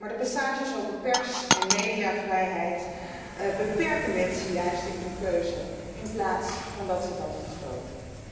Maar de passages over pers en mediavrijheid beperken mensen juist in hun keuze, in plaats van deze te vergroten.